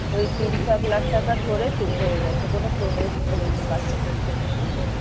ওই তিন চার লাখ টাকা ধরে চুপ হয় গেছে। কোনো protest করেনি বাচ্ছাটার জন্য জানিস